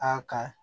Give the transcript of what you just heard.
Aa ka